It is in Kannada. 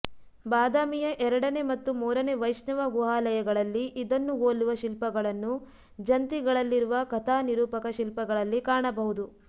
ಬಾದಾಮಿಯ ಎರಡನೇ ಮತ್ತು ಮೂರನೇ ವೈಷ್ಣವ ಗುಹಾಲಯಗಳಲ್ಲಿ ಇದನ್ನು ಹೋಲುವ ಶಿಲ್ಪಗಳನ್ನು ಜಂತಿಗಳಲ್ಲಿರುವ ಕಥಾ ನಿರೂಪಕ ಶಿಲ್ಪಗಳಲ್ಲಿ ಕಾಣಬಹುದು